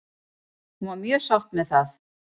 Hún var mjög sátt með það.